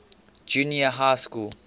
junior high school